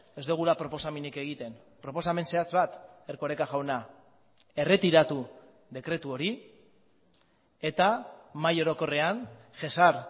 ez dugula proposamenik egiten proposamen zehatz bat erkoreka jauna erretiratu dekretu hori eta mahai orokorrean jesar